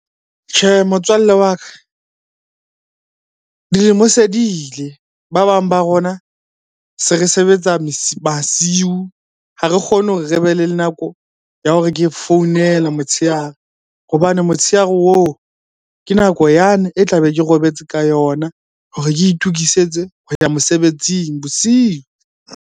Tjhe motswalle wa ka, dilemo se di ile. Ba bang ba rona se re sebetsa masiu. Ha re kgone hore re be le nako ya hore ke founele motshehare hobane motshehare oo, ke nako yane e tlabe ke robetse ka yona hore ke itokisetse ho ya mosebetsing bosiu.